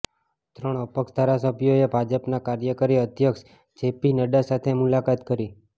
ત્રણ અપક્ષ ધારાસભ્યોએ ભાજપના કાર્યકારી અધ્યક્ષ જે પી નડ્ડા સાથે મુલાકાત કરી